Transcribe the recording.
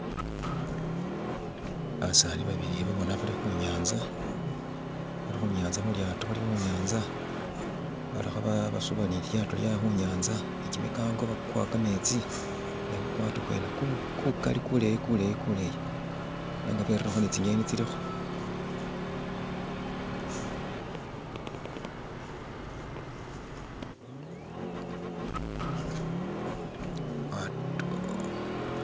Basani babili bo bona bali khunyanza khu lyato, bali kha basuba ni lilyato lyabwe khunyanza ne kimikango bakuwa kametsi ne kukwato kwene kukali kuleyi kuleyi nenga berirekho tsinyeni tsilikho.